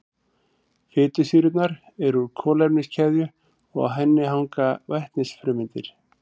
Fitusýrurnar eru úr kolefniskeðju og á henni hanga vetnisfrumeindir.